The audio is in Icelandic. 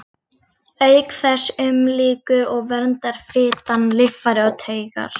Auk þess umlykur og verndar fitan líffæri og taugar.